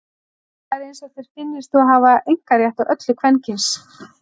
Það er eins og þér finnist þú hafa einkarétt á öllu kvenkyns.